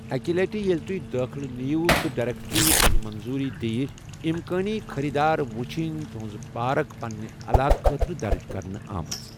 اَکہِ لٹہِ ییٚلہِ تُہۍ دٲخلہٕ نِیِو تہٕ ڈایریٚکٹرٛی تۄہہِ منظوری دِیہِ ، اِمکٲنی خٔریٖدار وٕچھن تُہٕنٛزٕ پارک پنٛنہِ علاقہٕ خٲطرٕ درٕج کرنہٕ آمٕژ۔